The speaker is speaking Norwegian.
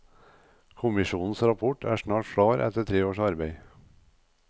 Kommisjonens rapport er snart klar etter tre års arbeid.